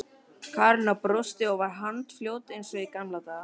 Karólína brosti og var handfljót eins og í gamla daga.